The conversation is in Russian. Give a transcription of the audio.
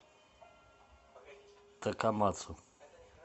такамацу